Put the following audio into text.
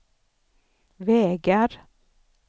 vägar